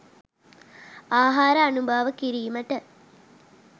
ආහාර අනුභව කිරීමට